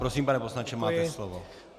Prosím, pane poslanče, máte slovo.